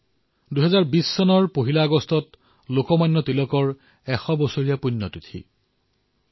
১ August ২০২০ তাৰিখে লোকমান্য তিলকৰ ১০০তম পূণ্যতিথি পালন কৰা হব